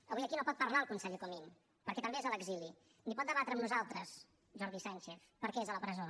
avui aquí no pot parlar el conseller comín perquè també és a l’exili ni pot debatre amb nosaltres jordi sànchez perquè és a la presó